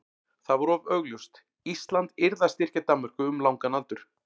það var of augljóst: Ísland yrði að styrkja Danmörku um langan aldur.